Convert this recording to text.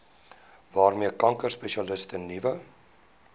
waarmee kankerspesialiste nuwe